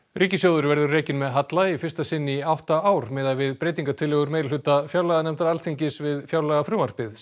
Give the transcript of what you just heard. ríkissjóður verður rekinn með halla í fyrsta sinn í átta ár miðað við breytingatillögur meirihluta fjárlaganefndar Alþingis við fjárlagafrumvarpið sem